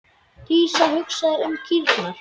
Dísa hugsaði um kýrnar.